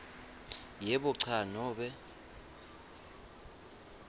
yebo cha nobe